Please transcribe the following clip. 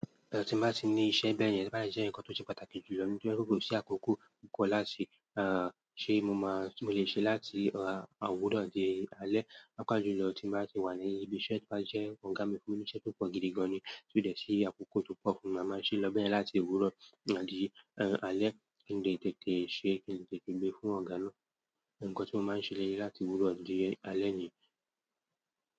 Tí mo bá ti ní iṣẹ́ bẹ́yẹ̀n, ṣe bá mi ṣe nǹkan tó ṣe pàtàkì jù lọ níbi tí ó kò sí àkókò kankan láti, ah, ṣe mọ máa, mo lè ṣe láti, ah, àwúrọ̀ di alẹ́. Pàápàá jùlọ tí mo bá ti wà ní ibi iṣẹ́, tí wá ṣe ọ̀gá mi fún mi iṣẹ́ tó pọ̀ gidigan ni, tí ó dẹ̀ sí àkókò tó pọ̀ fún mi, màá sì lọ bẹ́ẹ̀ láti owúrọ̀ àdí, ẹ́, alẹ́. Kí n dẹ̀ tètè ṣe, kí n tètè gbé fún ọ̀gá lọ. Ǹkan tí mo máa ń ṣe léyìí láti owúrọ̀ dé alẹ́ ni.